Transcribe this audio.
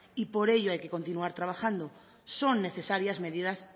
y por ello hay que continuar trabajando son necesarias medidas